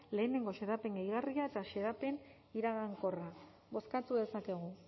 lehenengo xedapen gehigarria eta xedapen iragankorra bozkatu dezakegu